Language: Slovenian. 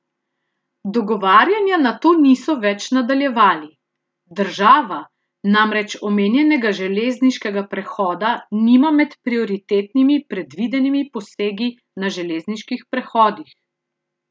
Dogovarjanja nato niso več nadaljevali: "Država namreč omenjenega železniškega prehoda nima med prioritetnimi predvidenimi posegi na železniških prehodih.